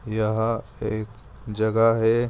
यह एक जगह है।